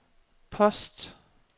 post